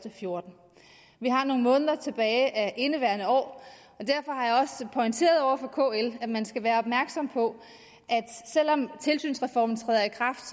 og fjorten vi har nogle måneder tilbage af indeværende år og pointeret over for kl at man skal være opmærksom på at selv om tilsynsreformen træder i kraft